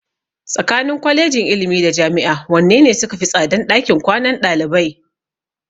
Tsakanin Kwalejin ilimi da Jami'a wanne ne sukafi tsadan ɗakin kwanan ɗalibai?